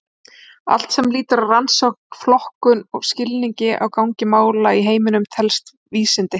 Allt sem lýtur að rannsókn, flokkun og skilningi á gangi mála í heiminum telst vísindi.